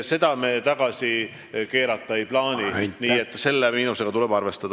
Seda me tagasi keerata ei plaani, nii et selle miinusega tuleb arvestada.